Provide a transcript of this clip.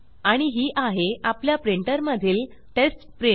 आणि ही आहे आपल्या प्रिंटर मधील टेस्ट प्रिंट